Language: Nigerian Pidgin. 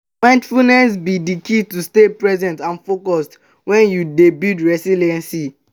mindfulness be di key to stay present and focused when you dey build resilience.